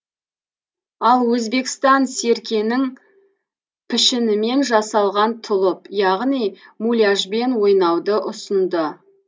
ал өзбекстан серкенің пішінімен жасалған тұлып яғни муляжбен ойнауды ұсынды